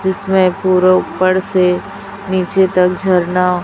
इसमें पूरा ऊपर से नीचे तक झरना--